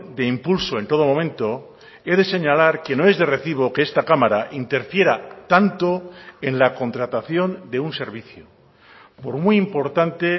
de impulso en todo momento he de señalar que no es de recibo que esta cámara interfiera tanto en la contratación de un servicio por muy importante